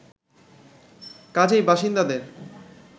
কাজেই বাসিন্দাদের